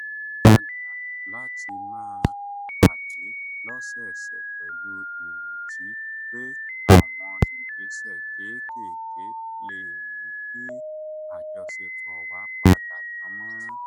a gbà láti máa pàdé lọ́sọ̀ọ̀sẹ̀ pẹ̀lú ìrètí pé àwọn ìgbésẹ̀ kéékèèké lè mú kí àjọṣe wa padà dán mọ́rán